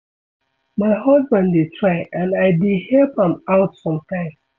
My husband dey try and I dey help am out sometimes